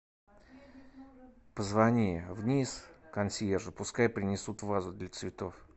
позвони вниз консьержу пускай принесут вазу для цветов